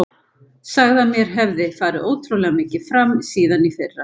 Sagði að mér hefði farið ótrúlega mikið fram síðan í fyrra.